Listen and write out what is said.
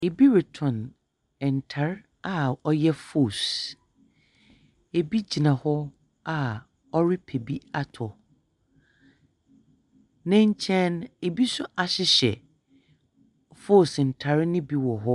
Ibi retɔn ntar a ɔyɛ fose. Ibi gyina hɔ a ɔrepɛ bi atɔ. Ne nkyɛn no ibi nso ahyehyɛ fose ntar no bi wɔ hɔ.